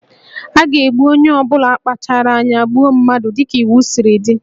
A ga-egbu onye ọ bụla kpachaara anya gbuo mmadụ dị ka iwu siri dị